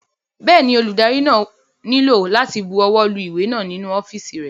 Bẹ́ẹ̀ni, olùdarí náà nílò láti bu ọwọ́ lu ìwé náà nínú ọ́fìsì rẹ̀